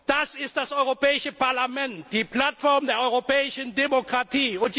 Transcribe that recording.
nicht vor das Europäische Parlament, die Plattform der europäischen Demokratie.